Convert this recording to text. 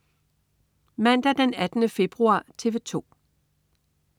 Mandag den 18. februar - TV 2: